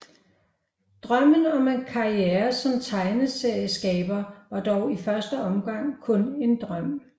Drømmen om en karriere som tegneserieskaber var dog i første omgang kun en drøm